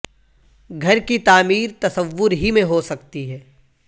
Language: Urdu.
گھر کی تعمیر تصور ہی میں ہو سکتی ہے